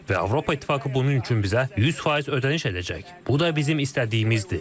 Və Avropa İttifaqı bunun üçün bizə 100% ödəniş edəcək, bu da bizim istədiyimizdir.